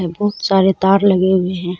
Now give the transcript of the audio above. बहुत सारे तार लगे हुए है।